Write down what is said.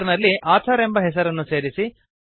header ನಲ್ಲಿ author ಎಂಬ ಹೆಸರನ್ನು ಸೇರಿಸಿ